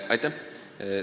Aitäh!